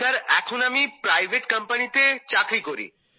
sir এখন আমি private কোম্পানিতে চাকরি করি